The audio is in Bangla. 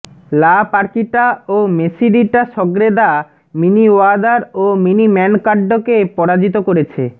লা পার্কিটা ও মেসিরিটা সগ্রেদা মিনি ওয়াদার ও মিনি ম্যানকাড্ডকে পরাজিত করেছে